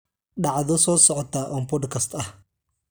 dhacdo soo socota on podcast ah